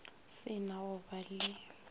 se na go ba le